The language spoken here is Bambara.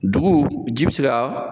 Dugu ji bi se ga